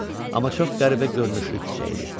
Amma çox qəribə görünüşlü küçə idi.